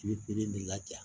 I bɛ de laja